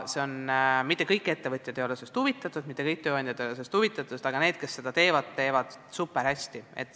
Mitte kõik ettevõtjad ei ole sellest huvitatud, mitte kõik tööandjad ei ole sellest huvitatud, aga need, kes sellega tegelevad, teevad seda super hästi.